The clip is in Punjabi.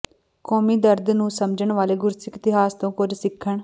ਕੌਮੀ ਦਰਦ ਨੂੰ ਸਮਝਣ ਵਾਲੇ ਗੁਰਸਿੱਖ ਇਤਿਹਾਸ ਤੋਂ ਕੁੱਝ ਸਿੱਖਣ